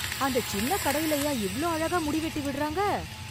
அந்த சின்னக் கடைலயா இவ்ளோ அழகா முடி வெட்டி விடுறாங்க.